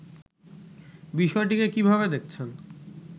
বিষয়টিকে কিভাবে দেখছেন